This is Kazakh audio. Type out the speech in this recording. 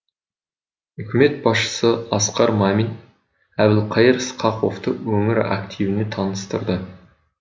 үкімет басшысы асқар мамин әбілқайыр сқақовты өңір активіне таныстырды